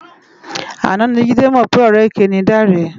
Áná ni Jide mò pè òrè ëké ni Dare